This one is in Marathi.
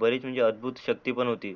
बरीच म्हणजे अद्भुत शक्ति पण होती.